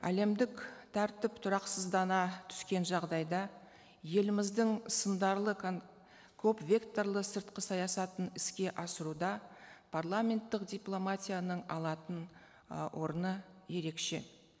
әлемдік тәртіп тұрақсыздана түскен жағдайда еліміздің сындарлы көп векторлы сыртқы саясатын іске асыруда парламенттік дипломатияның алатын ы орны ерекше